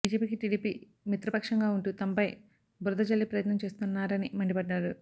బిజెపికి TDP మిత్రపక్షంగా ఉంటూ తమపై బురదజల్లే ప్రయత్నం చేస్తున్నారని మండిపడ్డారు